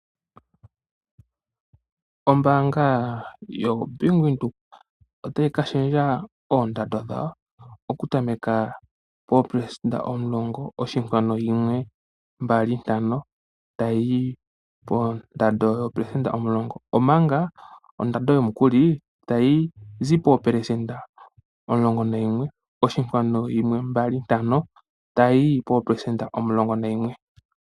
Ombaanga yoBank Windhoek ota yi ka shendja oondado dhayo okutameka poopelesenda omulongo oshinkwanu yimwe mbali ntano tayi yi poondado yo poopelesenda omulongonayimwe oshinkwanu yimwe mbali ntano tayi yi poopelesenda omulongonayimwe.